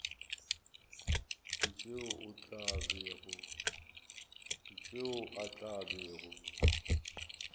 ka tšeo a tla bego